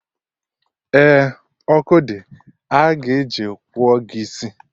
Eh, ọkụ dị, a ga-eji kpụọ gị isi